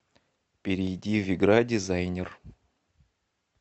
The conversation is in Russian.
перейди в игра дизайнер